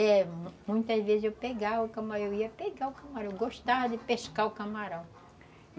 É, muitas vezes eu pegava o camarão, eu ia pegar o camarão, eu gostava de pescar o camarão.